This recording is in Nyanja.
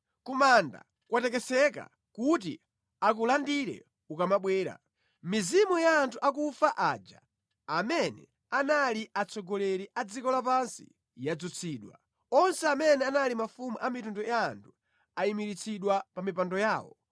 Ku manda kwatekeseka kuti akulandire ukamabwera; mizimu ya anthu akufa, aja amene anali atsogoleri a dziko lapansi, yadzutsidwa. Onse amene anali mafumu a mitundu ya anthu ayimiritsidwa pa mipando yawo.